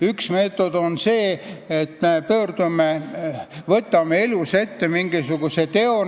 Üks meetod on see, kui elus võetakse ette mingisugune tegu.